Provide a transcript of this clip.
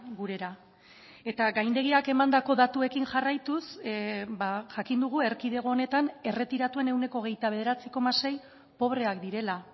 gurera eta gaindegiak emandako datuekin jarraituz jakin dugu erkidego honetan erretiratuen ehuneko hogeita bederatzi koma sei pobreak direla